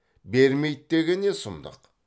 бермейді деген не сұмдық